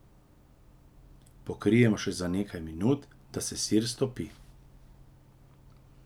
Pokrijemo še za nekaj minut, da se sir stopi.